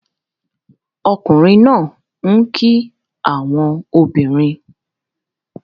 Ọkunrin naa n ki awọn obinrin